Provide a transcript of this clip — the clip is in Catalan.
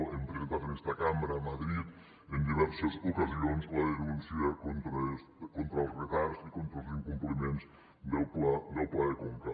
hem presentat en esta cambra a madrid en diverses ocasions la denúncia contra els retards i contra els incompliments del pla de conca